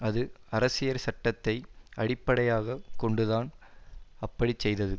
அது அரசியற் சட்டத்தை அடிப்படையாக கொண்டுதான் அப்படிச்செய்தது